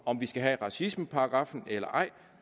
om vi skal have racismeparagraffen eller ej